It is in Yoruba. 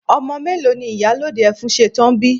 Ọmọ mélòó ni ìyálòde Ẹfúnsetán bi?